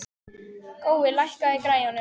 Gói, lækkaðu í græjunum.